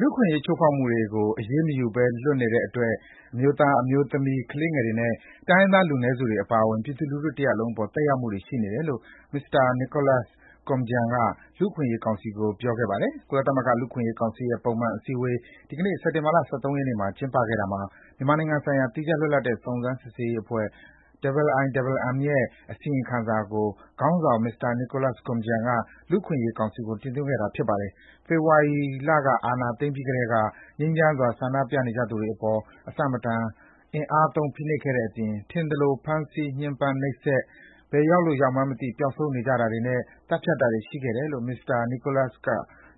လူ့အခွင့်အရေး ချိုးဖောက်သူတွေကို အရေးမယူနိုင်ဘဲ လွတ်နေတဲ့အတွက် အမျိုးသား၊ အမျိုးသမီး၊ ကလေးငယ်တွေ နဲ့ တိုင်းရင်းသား လူနည်းစုတွေ အပါအဝင် ပြည်သူလူထု တစ်ရပ်လုံးအပေါ် သက်ရောက်မှုတွေ ရှိနေတယ်လို့ မစ္စတာ Nicholas Koumjian က လူ့အခွင့်အရေးကောင်စီကို ပြောခဲ့ပါတယ်။ ကုလသမဂ္ဂ လူ့အခွင့်အရေး ကောင်စီရဲ့ ပုံမှန် အစည်းအဝေး ဒီကနေ့ စက်တင်ဘာလ ၁၃ ရက်နေ့မှာ ကျင်းပခဲ့တာမှာ မြန်မာနိုင်ငံဆိုင်ရာ သီးခြား လွတ်လပ်တဲ့ စုံစမ်းစစ်ဆေးရေးအဖွဲ့ IIMMရဲ့ အစီရင်ခံစာကို ခေါင်းဆောင် မစ္စတာ Nicholas Koumjian က လူ့အခွင့်အရေးကောင်စီကို တင်သွင်းခဲ့တာပါ။ ဖေဖော်ဝါရီ အာဏာ သိမ်းပြီးကတည်းက ငြိမ်းချမ်းစွာ ဆန္ဒပြနေကြသူတွေ အပေါ် မတန်တဆ အင်အားသုံး ဖိနှိပ်ခဲ့တဲ့အပြင်၊ ထင်သလို ဖမ်းဆီး၊ ညှင်းပန်း နှိပ်စက်၊ ဘယ်ရောက်လို့ ရောက်မှန်းမသိ ပျောက်ဆုံးနေကြတာတွေနဲ့ သတ်ဖြတ်တာတွေ ရှိခဲ့တယ်လို့ မစ္စတာ နီကိုလပ်စ် က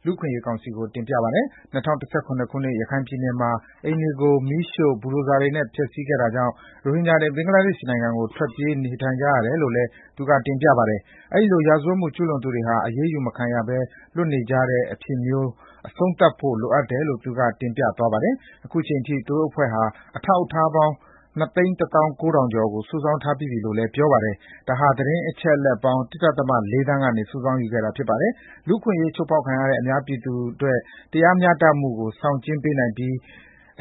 လူ့အခွင့်အရေး ကောင်စီ ကို တင်ပြပါတယ်။ ၂၀၁၇ ခုနစ်၊ ရခိုင်ပြည်နယ်မှာ အိမ်တွေကို မီးရှိ့ ဘူဒိုဇာတွေနဲ့ တိုက်ဖျက်ခဲ့တာကြောင့် ရိုဟင်ဂျာတွေ ဘင်္ဂလားဒေ့ရှ်နိုင်ငံကို ထွက်ပြေး နေထိုင်နေကြရတယ်လို့ သူက တင်ပြပါတယ်။ အဲဒီလို ရာဇဝတ်မှု ကျူးလွန်သူတွေဟာ အရေးယူမခံရဘဲ လွတ်နေကြတဲ့ အဖြစ်မျိုးကို အဆုံးသတ်ဖို့ လိုအပ်တယ်လို့ သူက တင်ပြသွားပါတယ်။ ခု အချိန်ထိ သူတို့ အဖွဲ့ဟာ အထောက်အထားပေါင်း ၂ သိန်း ၁ သောင်း ၉ ထောင်ကျော်ကို စုဆောင်းထားပြီးပြီလို့လည်း ပြောပါတယ်။ ဒါဟာ သတင်းအချက်အလက်ပေါင်း ၁.၄ သန်း ကနေ စုဆောင်းယူခဲ့တာ ဖြစ်ပါတယ်။ လူ့အခွင့်အရေး အချိုးဖောက်ခံရတဲ့ မြန်မာပြည်သူတွေ အတွက် တရားမျှတမှုကို ဆောင်းကျဉ်းပေးနိုင်ပြီး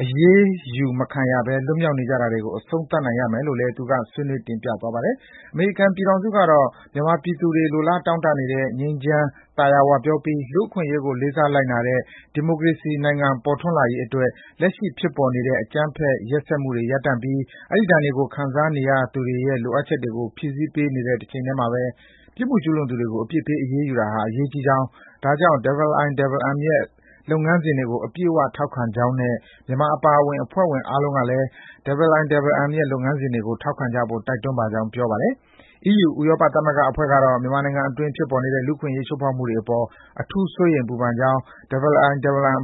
၊ အရေးယူ မခံရဘဲ လွတ်မြောက်နေတာတွေကို အဆုံးသတ်နိုင်ရမယ်လို့ သူက ဆွေးနွေးသွားပါတယ်။ အမေရိကန်ပြည်ထောင်စုကတော့ မြန်မာပြည်သူတွေ လိုလားတောင့်တနေတဲ့ ငြိမ်းချမ်း၊ သာယာဝပြောပြီး လူ့အခွင့်အရေးကို လေးစားလိုက်နာတဲ့ ဒီမိုကရေစီနိုင်ငံပေါ်ထွန်းလာရေးအတွက် လက်ရှိ ဖြစ်ပေါ်နေတဲ့ အကြမ်းဖက် ရက်စက်မှုတွေ ရပ်တန့်ပြီး အဲဒီ ဒဏ်တွေကို ခံစားခဲ့ရသူတွေရဲ့ လိုအပ်ချက်တွေကို ဖြည့်ဆည်းပေးတဲ့တချိန်ထဲမှာဘဲ ပြစ်မှုကျူးလွန်သူတွေကို အပြစ်ပေး အရေးယူရေးဟာ အရေးကြီးကြောင်း၊ ဒါကြောင့် IIMM ရဲ့ လုပ်ငန်းစဉ်တွေကို အပြည့်အဝထောက်ခံကြောင်းနဲ့ မြန်မာအပါအဝင် အဖွဲ့ဝင်နိုင်ငံအားလုံးကလည်း IIMM ရဲ့ လုပ်ငန်းစဉ်တွေကို ထောက်ခံကြဖို့ တိုက်တွန်းပါကြောင်း ပြောပါတယ်။ အီးယူ ဥရောပသမဂ္ဂအဖွဲ့ကတော့ မြန်မာနိုင်ငံအတွင်း ဖြစ်ပေါ်နေတဲ့ လူ့အခွင့်အရေးချိုးဖောက်မှုတွေအပေါ် အထူးစိုးရိမ် ပူပန်ကြောင်း၊ IIMM အ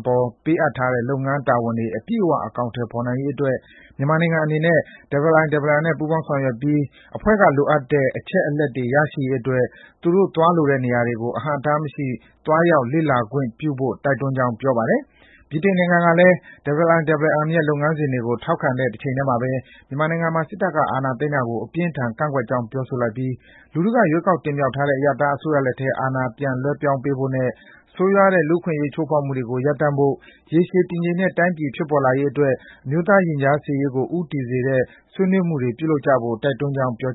ပေါ် ပေးအပ်ထားတဲ့ လုပ်ငန်းတာဝန်တွေ အပြည့်အ၀ အကောင်အထည်ဖော်နိုင်ရေးအတွက် မြန်မာနိုင်ငံအနေနဲ့ IIMM နဲ့ ပူးပေါင်းဆောင်ရွက်ပြီး IIMM အဖွဲ့က လိုအပ်တဲ့ အချက်အလက်တွေရရှိရေးအတွက် သူတို့ သွားလိုတဲ့နေရာတွေ အဟန့်အတားမရှိ သွားရောက် လေ့လာနိုင်ရေးခွင့်ပြုဖို့ တိုက်တွန်းကြောင်း ပြောပါတယ်။ ဗြိတိန်နိုင်ငံကတော့ - IIMM ရဲ့ လုပ်ငန်းစဉ်တွေကို ထောက်ခံတဲ့ တချိန်ထဲမှာဘဲ မြန်မာနိုင်ငံမှာ စစ်တပ်ကအာဏာသိမ်းတာကို အပြင်းအထန် ကန့်ကွက်ကြောင်းပြောဆိုလိုက်ပြီး လူထုက ရွေးကောက်တင်မြောက်ထားတဲ့ အရပ်သားအစိုးရလက်ထဲ အာဏာပြန်လွဲပြောင်းပေးဖို့နဲ့ ဆိုးရွားတဲ့ လူ့အခွင့်အရေးချိုးဖောက်မှုတွေကို ရပ်တန်းရပ်ဖို့၊ ရေရှည် တည်ငြိမ်တဲ့ တိုင်းပြည် ဖြစ်ပေါ်လာရေးအတွက် အမျိုးသားရင်ကြားစေ့ရေးကို ဦးတည်စေတဲ့ ဆွေးနွေးမှုတွေ ပြုလုပ်ကြဖို့ တိုက်တွန်းကြောင်း ပြော